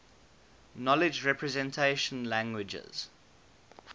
knowledge representation languages